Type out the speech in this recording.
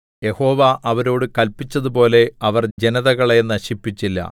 യഹോവ അവരോടു കല്പിച്ചതുപോലെ അവർ ജനതകളെ നശിപ്പിച്ചില്ല